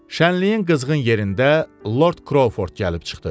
Şənliyin qızğın yerində Lord Kroford gəlib çıxdı.